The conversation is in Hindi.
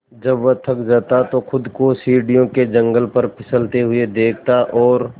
जब वह थक जाता तो खुद को सीढ़ियों के जंगले पर फिसलते हुए देखता और